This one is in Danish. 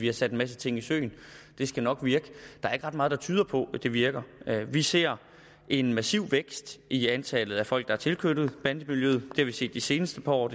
er sat en masse ting i søen og det skal nok virke der er ikke ret meget der tyder på at det virker vi ser en massiv vækst i antallet af folk der er tilknyttet bandemiljøet det har vi set de seneste par år og